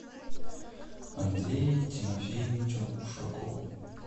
андрею тимофеевичу ушакову